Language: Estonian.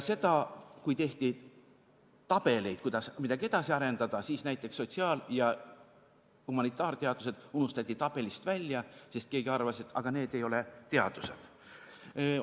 Kui tehti tabeleid, kuidas midagi edasi arendada, siis näiteks sotsiaal- ja humanitaarteadused unustati tabelist välja, sest keegi arvas, et need ei ole teadused.